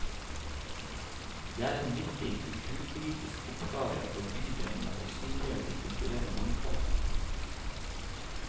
Det er en viktig kulturpolitisk oppgave for bydelene å synliggjøre det kulturelle mangfoldet.